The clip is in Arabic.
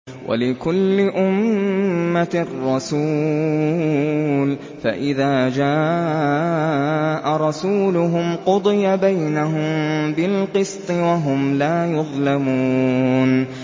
وَلِكُلِّ أُمَّةٍ رَّسُولٌ ۖ فَإِذَا جَاءَ رَسُولُهُمْ قُضِيَ بَيْنَهُم بِالْقِسْطِ وَهُمْ لَا يُظْلَمُونَ